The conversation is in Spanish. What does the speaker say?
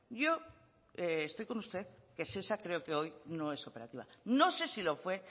yo estoy con usted que shesa creo que hoy no es operativa no sé si lo fue